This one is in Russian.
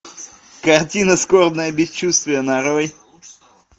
картина скорбное бесчувствие нарой